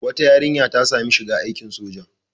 Wata yarinya ta sami shiga aikin soja.